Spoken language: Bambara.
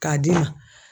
K'a d'i ma